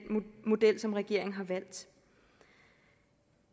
model som regeringen har valgt